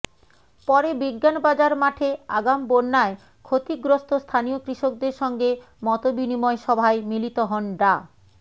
পরে বিজ্ঞান বাজার মাঠে আগাম বন্যায় ক্ষতিগ্রস্ত স্থানীয় কৃষকদের সঙ্গে মতবিনিময় সভায় মিলিত হন ডা